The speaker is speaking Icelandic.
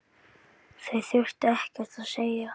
Það þurfti ekkert að segja.